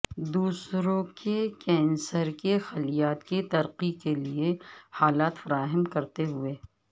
دوسروں کے کینسر کے خلیات کی ترقی کے لئے حالات فراہم کرتے ہوئے